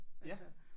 Ja